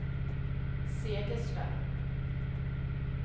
Segersta